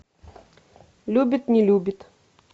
любит не любит